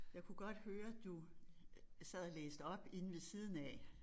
Jeg kunne godt høre du sad og læste op inde ved siden af